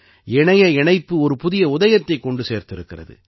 இணைய இணைப்பு ஒரு புதிய உதயத்தைக் கொண்டு சேர்த்திருக்கிறது